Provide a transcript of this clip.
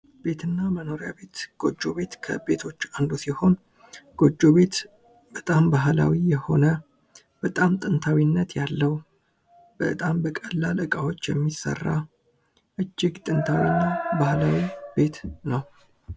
ቤት እና መኖሪያ ቤት ጎጆ ቤት ከቤቶች አንዱ ሲሆን ጎጆ ቤት በጣም ባህላዊ የሆነ በጣም ጥንታዊነት ያለው በጣም በቀላል እቃዎች የሚሰራ እጅግ ጥንታዊ እና ባህላዊ ቤት ነው።